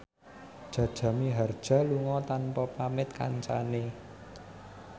Jaja Mihardja lunga tanpa pamit kancane